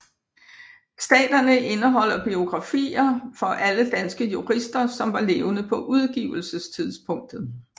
Staterne indeholder biografier for alle danske jurister som var levende på udgivelsestidspunktet